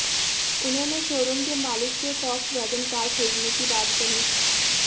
उन्होंने शोरूम के मालिक से फॉक्सवैगन कार खरीदने की बात कही